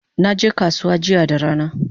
Naje kasuwa jiya da rana